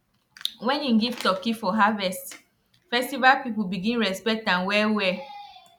when he give turkey for harvest festival people begin respect am wellwell